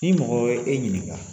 I mɔgɔ ye e ɲininka